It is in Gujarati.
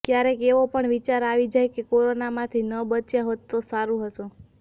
ક્યારેક એવો પણ વિચાર આવી જાય કે કોરોનામાંથી ન બચ્યા હોત તો સારું હતું